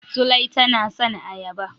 Zulai tana son ayaba.